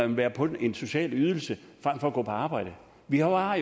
vil være på en social ydelse frem for at gå på arbejde vi har